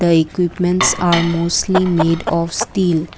the equipments are mostly made of steel.